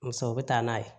Muso bɛ taa n'a ye